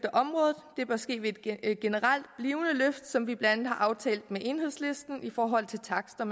området det bør ske ved et generelt blivende løft som vi blandt andet har aftalt med enhedslisten i forhold til takster